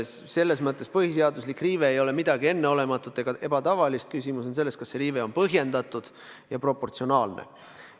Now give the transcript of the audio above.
Selles mõttes põhiseaduse riive ei ole midagi enneolematut ega ebatavalist, küsimus on selles, kas see riive on põhjendatud ja proportsionaalne.